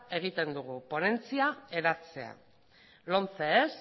egiten dugu ponentzia eratzea lomce ez